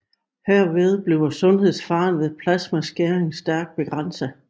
Herved bliver sundhedsfaren ved plasmaskæring stærkt begrænset